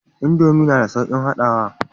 Indomie na da saukin haɗawa